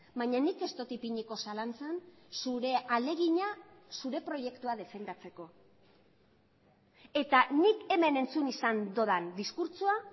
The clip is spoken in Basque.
baina nik ez dut ipiniko zalantzan zure ahalegina zure proiektua defendatzeko eta nik hemen entzun izan dudan diskurtsoa